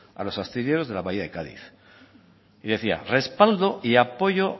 a los astilleros de la bahía de cádiz respaldo y apoyo